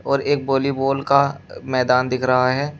और एक वॉलीबॉल का मैदान दिख रहा है।